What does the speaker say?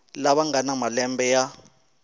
lava nga na malembe ya